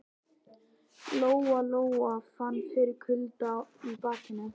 Lóa Lóa fann fyrir kulda í bakinu.